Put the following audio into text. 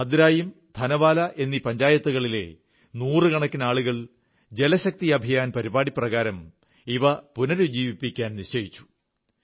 ഭദ്രായുൻ ധാനവാലാ എന്നീ പഞ്ചായത്തുകളിലെ നൂറുകണക്കിന് ആളുകൾ ജലശക്തി അഭിയാൻ പരിപാടിപ്രകാരം ഇവ പുനരുജ്ജീവിക്കാൻ നിശ്ചയിച്ചു